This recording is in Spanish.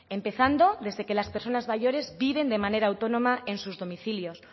empezando desde que las personas mayores viven de manera autónoma en sus domicilios